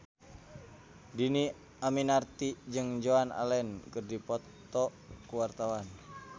Dhini Aminarti jeung Joan Allen keur dipoto ku wartawan